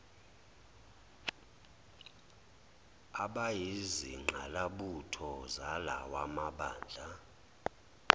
abayizingqalabutho zalawa mabandla